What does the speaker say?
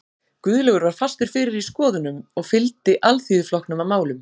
Guðlaugur var fastur fyrir í skoðununum og fylgdi Alþýðuflokknum að málum.